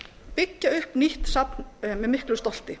byggja upp nýtt safn með miklu stolti